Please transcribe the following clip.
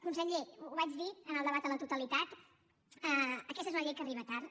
conseller ho vaig dir en el debat a la totalitat aquesta és una llei que arriba tard